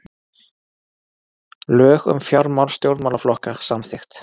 Lög um fjármál stjórnmálaflokka samþykkt